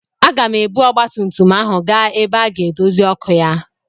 Aga m ebu ọgbatumtum ahụ gaa ebe a ga-edozi ọkụ ya.